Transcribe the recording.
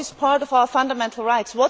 What is part of our fundamental rights?